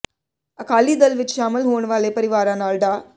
ਅਕਾਲੀ ਦਲ ਵਿੱਚ ਸ਼ਾਮਲ ਹੋਣ ਵਾਲੇ ਪਰਿਵਾਰਾਂ ਨਾਲ ਡਾ